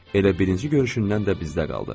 Elə birinci görüşündən də bizdə qaldı.